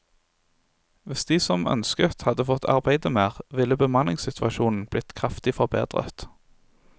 Hvis de som ønsker det hadde fått arbeide mer, ville bemanningssituasjonen blitt kraftig forbedret.